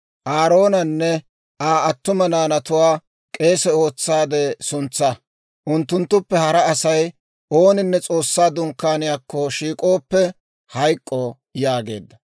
Aaroonanne Aa attuma naanatuwaa k'eese ootsaade suntsaa. Unttunttuppe hara Asay ooninne S'oossaa Dunkkaaniyaakko shiik'ooppe, hayk'k'o» yaageedda.